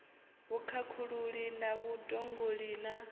vhukhakhululi na vhud ologi na